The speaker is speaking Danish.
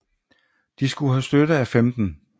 De skulle have støtte af 15